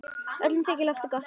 Öllum þykir lofið gott.